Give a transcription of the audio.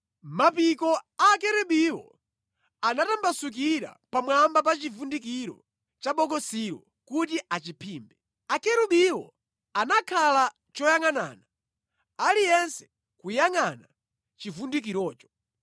Mapiko a Akerubiwo anatambasukira pamwamba pa chivundikiro cha bokosilo kuti achiphimbe. Akerubiwo anakhala choyangʼanana, aliyense kuyangʼana chivundikirocho.